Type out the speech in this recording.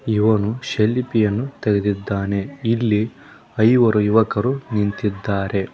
ಇವನು ಸೆಲ್ಫಿ ಅನ್ನು ತೆಗೆದಿದ್ದಾನೆ ಇಲ್ಲಿ ಐವರು ಯುವಕರು ನಿಂತಿದ್ದಾರೆ.